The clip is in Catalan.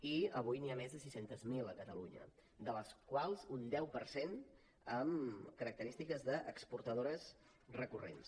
i avui n’hi ha més de sis cents miler a catalunya de les quals un deu per cent amb característiques d’exportadores recurrents